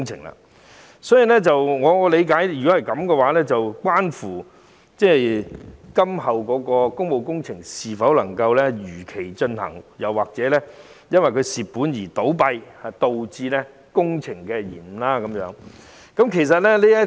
若然如此，便會關乎今後的工務工程能否如期進行，以及會否因中標公司虧本倒閉而導致工程延誤。